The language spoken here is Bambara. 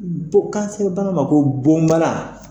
Don bana ma ko bon bana.